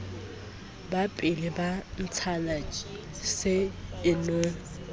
bapile ba ntshana se inong